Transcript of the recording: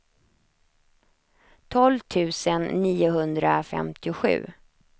tolv tusen niohundrafemtiosju